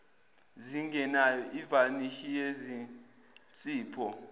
zingenayo ivanishi yezinzipho